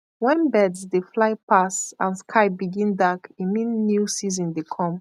when birds dey fly pass and sky begin dark e mean new season dey come